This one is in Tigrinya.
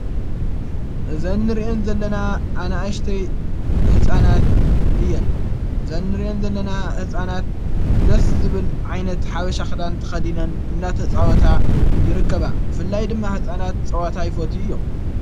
ዘኒ ርየን ዘለና ኣነኣሽተይ ሕፃናት እየን ዘን ርአን ዘለና ሕፃናት ደስ ዝብል ዓይነት ሓበሻኽዳን ተኸዲነን እናተጸወታ ይርከባ ብፍላይ ድማ ሕፃናት ጸዋታ ኣይፈቱ እዮም።